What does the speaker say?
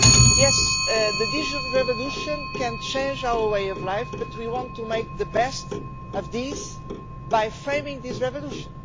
Yes, the digital revolution can change our way of life, but we want to make the best of this by framing this revolution.